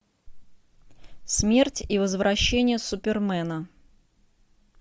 смерть и возвращение супермена